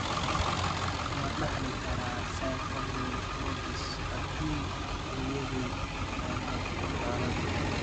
Ma dhaxli karaa serpiginous choroiditis haddii hooyaday ay qabto xaaladdu?